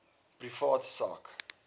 privaat sak